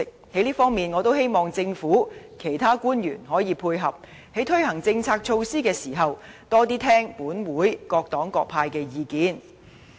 在這方面，我希望政府其他官員可以配合，在推行政策措施時，多聽取立法會各黨派的意見。